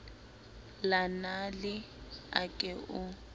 la nale a ke o